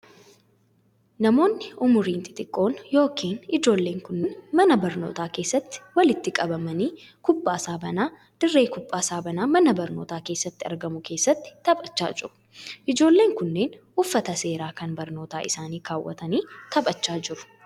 Namoonni umuriin xixiqqoo yokin ijoolleen kunneen, mana barnootaa keessatti walitti qabamanii kubbaa saaphanaa dirree kubbaa saaphanaa mana barnootaa keessatti argamu keessatti taphachaa jiru. Ijoolleen kunneen, uffata seeraa kan barnoota isaanii kaawwatanii taphachaa jiru.